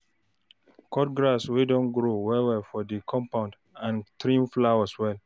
Cut grass wey don grow well well for di compound and trim flowers well